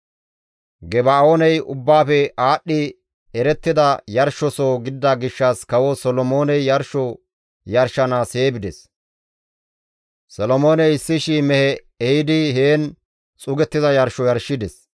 Geba7ooney ubbaafe aadhdhi erettida yarshosoho gidida gishshas kawo Solomooney yarsho yarshanaas hee bides; Solomooney 1,000 mehe ehidi heen xuugettiza yarsho yarshides.